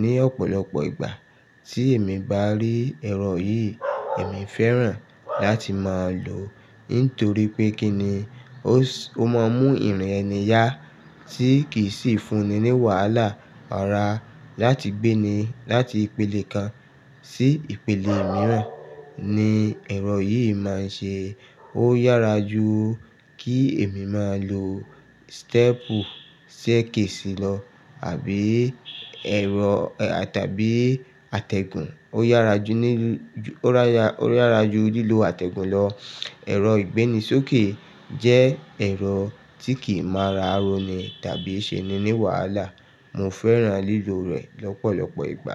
Ní ọ̀pọ̀lọpọ̀ ìgbà tí èmi bá rí ẹ̀rọ yìí, èmi fẹ́ràn láti máa lò nítorí pé kíni ó máa mú ìrìn ẹni yá tí kì í sì fun ní wàhálà ara láti gbé ni láti ìpele kan sí ìpele mìíràn ni ẹ̀rọ yìí máa ń ṣe. Ó yára ju kí èmi máa lo stẹ́ẹ̀pù, séèkì sí lọ àbí ẹ̀rọ, tàbí àtẹ̀gùn. O yara ju ni Ó yára ju, ó yára ju lílo àtẹ̀gùn lọ. Ẹ̀rọ ìgbéni sókè jẹ́ ẹ̀rọ tí kì í mára roní tàbí ṣe ni ní wàhálà. Mo fẹ́ràn lílò rẹ̀ lọ́pọ̀lọpọ̀ ìgbà.